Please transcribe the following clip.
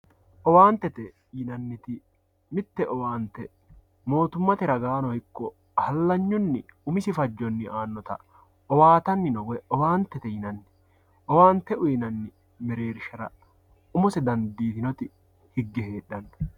owaantete yinanniti mitte owaante mootummate ragaannino ikko hallanyunni umisi fajjonni aannota owaatanni no woy owaantete yinanni owaante uyiinanni mereershira umose dandiitinoti higge heedhanno.